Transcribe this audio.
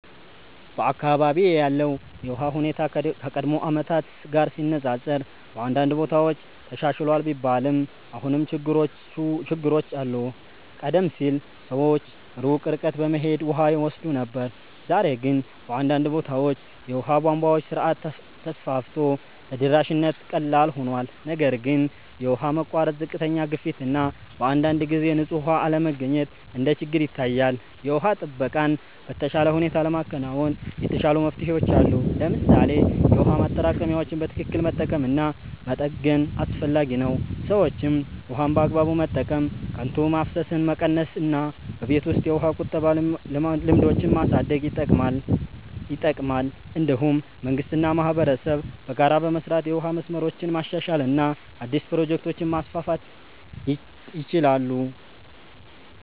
በአካባቢዬ ያለው የውሃ ሁኔታ ከቀድሞ ዓመታት ጋር ሲነፃፀር በአንዳንድ ቦታዎች ተሻሽሏል ቢባልም አሁንም ችግሮች አሉ። ቀደም ሲል ሰዎች ሩቅ ርቀት በመሄድ ውሃ ይወስዱ ነበር፣ ዛሬ ግን በአንዳንድ ቦታዎች የውሃ ቧንቧ ስርዓት ተስፋፍቶ ተደራሽነት ቀላል ሆኗል። ነገር ግን የውሃ መቋረጥ፣ ዝቅተኛ ግፊት እና በአንዳንድ ጊዜ ንጹህ ውሃ አለመገኘት እንደ ችግር ይታያል። የውሃ ጥበቃን በተሻለ ሁኔታ ለማከናወን የተሻሉ መፍትሄዎች አሉ። ለምሳሌ የውሃ ማጠራቀሚያዎችን በትክክል መጠቀም እና መጠገን አስፈላጊ ነው። ሰዎችም ውሃን በአግባቡ መጠቀም፣ ከንቱ ማፍሰስን መቀነስ እና በቤት ውስጥ የውሃ ቁጠባ ልምዶችን ማሳደግ ይጠቅማል። እንዲሁም መንግስት እና ማህበረሰብ በጋራ በመስራት የውሃ መስመሮችን ማሻሻል እና አዲስ ፕሮጀክቶችን ማስፋፋት ይችላሉ።